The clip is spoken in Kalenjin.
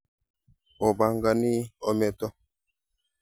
Opangani ometo?